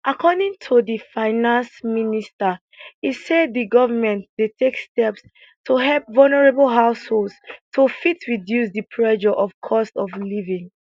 according to di finance minister e say di govment dey take steps to help vulnerable households to fit reduce di pressure of cost of living